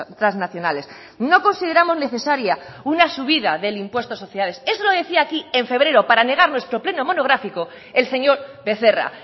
transnacionales no consideramos necesaria una subida del impuesto de sociedades eso lo decía aquí en febrero para negar nuestro pleno monográfica el señor becerra